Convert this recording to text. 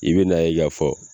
I be na ye k'a fɔ